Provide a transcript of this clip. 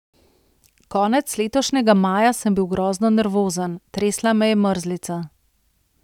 Konec letošnjega maja sem bil grozno nervozen, tresla me je mrzlica.